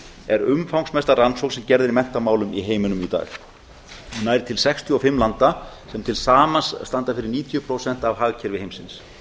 er umfangsmesta rannsókn sem gerð er í menntamálum í heiminum í dag nær til sextíu og fimm landa sem til samans standa fyrir níutíu prósent af hagkerfi heimsins